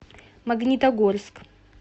магнитогорск